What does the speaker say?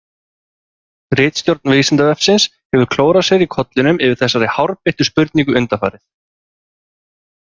Ritstjórn Vísindavefsins hefur klórað sér í kollinum yfir þessari hárbeittu spurningu undanfarið.